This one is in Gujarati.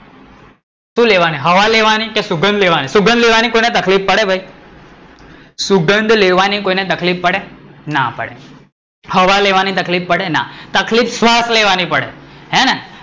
શું લેવાની હવા લેવાની કે સુગંધ, સુગંધ લેવાની કોઈ ને તકલીફ પડે ભાઈ? સુગંધ લેવાની કોઈ ને તકલીફ પડે? ના પડે, હવા લેવાની તકલીફ પડે ના, તકલીફ શ્વાસ લેવાની પડે હેને?